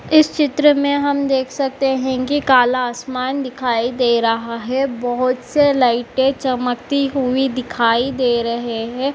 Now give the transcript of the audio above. इस चित्र में हम देख सकते हैं कि काला आसमान दिखाई दे रहा है। बहुत से लाइटे चमकती हुई दिखाई दे रहे है।